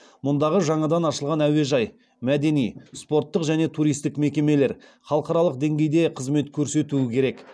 мұндағы жаңадан ашылған әуежай мәдени спорттық және туристік мекемелер халықаралық деңгейде қызмет көрсетуі керек